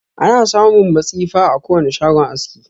Ana samun matsifa a kowane shagon aski.